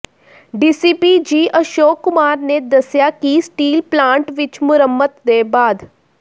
DCP ji Ashok Kumar ਨੇ ਦੱਸਿਆ ਕਿ ਸਟੀਲ ਪਲਾਂਟ ਵਿੱਚ ਮੁਰੰਮਤ ਦੇ ਬਾਅਦ